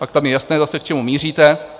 Tak tam je jasné zase, k čemu míříte.